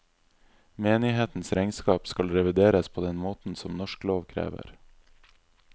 Menighetens regnskap skal revideres på den måten som norsk lov krever.